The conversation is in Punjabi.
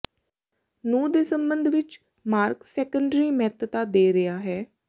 ਨੂੰ ਦੇ ਸਬੰਧ ਵਿੱਚ ਮਾਰਕ ਸੈਕੰਡਰੀ ਮਹੱਤਤਾ ਦੇ ਰਿਹਾ ਹੈ